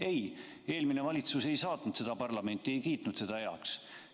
Ei, eelmine valitsus ei saatnud seda arengukava parlamenti, ei kiitnud seda heaks.